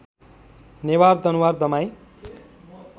Newar Danuwar Damai